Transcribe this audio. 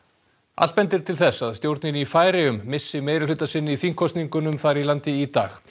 allt bendir til þess að stjórnin í Færeyjum missi meirihluta sinn í þingkosningunum þar í landi í dag